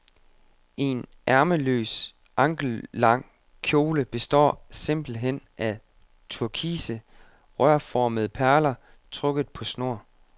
En ærmeløs, ankellang kjole består simpelt hen af turkise, rørformede perler, trukket på snor.